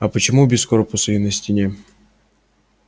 а почему без корпуса и на стене